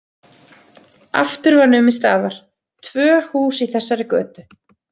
Aftur var numið staðar, tvö hús í þessari götu.